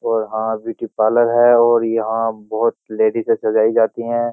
और हां beauty parlour है और यहां बहुत लेडी से सजाई जाती हैं।